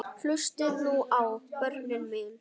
Hlustið nú á, börnin mín.